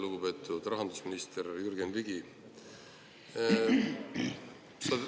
Lugupeetud rahandusminister Jürgen Ligi!